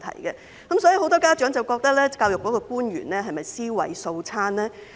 因此，很多家長也質疑教育局的官員尸位素餐。